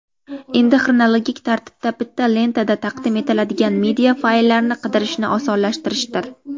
endi xronologik tartibda bitta lentada taqdim etiladigan media fayllarni qidirishni osonlashtirishdir.